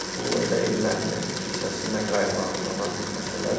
Bu elə erməni kilsəsindən qaynaqlanan bir məsələdir.